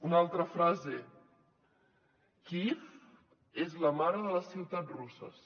una altra frase kíiv és la mare de les ciutats russes